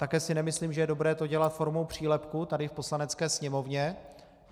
Také si nemyslím, že je dobré to dělat formou přílepku tady v Poslanecké sněmovně.